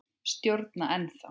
Stjórna ennþá.